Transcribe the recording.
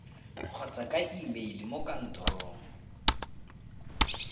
kgotsa ka emeile mo kantorong